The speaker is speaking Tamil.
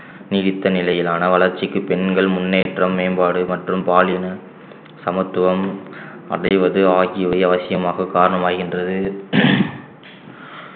நீடித்த நிலையிலான வளர்ச்சிக்கு பெண்கள் முன்னேற்றம் மேம்பாடு மற்றும் பாலின சமத்துவம் அடைவது ஆகியவை அவசியமாக காரணமாகின்றது